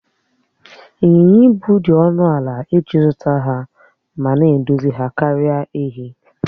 Ịnyịnya ibu dị ọnụ ala iji zụta ma na-edozi ha karịa èhi